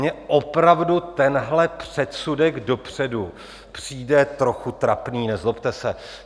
Mně opravdu tenhle předsudek dopředu přijde trochu trapný, nezlobte se.